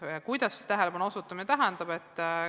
Mida see tähelepanu osutamine tähendab?